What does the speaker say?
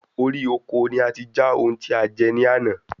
Orí oko ni ati já oun tí a jẹ ní àná